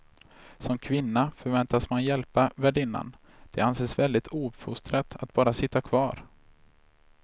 Som kvinna förväntas man hjälpa värdinnan, det anses väldigt ouppfostrat att bara sitta kvar.